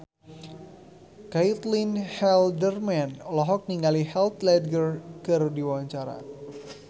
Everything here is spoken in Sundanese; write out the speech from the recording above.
Caitlin Halderman olohok ningali Heath Ledger keur diwawancara